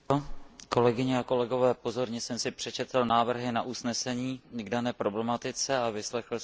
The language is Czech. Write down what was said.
Pozorně jsem si přečetl návrhy usnesení k dané problematice a vyslechl jsem si se zájmem diskuzi.